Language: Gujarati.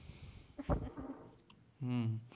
હમ્મ